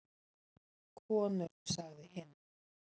Konur sagði hinn.